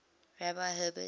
rabbi herbert